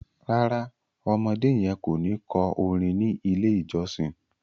ràrá ọmọdé yen kọ ní kò orin ní ilè ìjósìn.